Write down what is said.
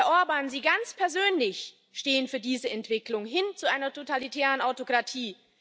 Herr Orbán, Sie ganz persönlich stehen für diese Entwicklung hin zu einer totalitären Autokratie.